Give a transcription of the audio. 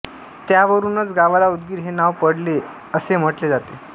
त्यावरूनच गावाला उदगीर हे नाव पडले असे म्हटले जाते